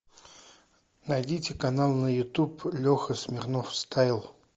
найдите канал на ютуб леха смирнов стайл